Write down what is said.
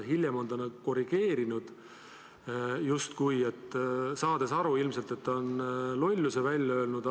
Hiljem on ta end korrigeerinud, justkui saades aru, et ta on ilmselt lolluse öelnud.